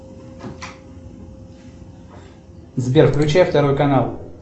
сбер включи второй канал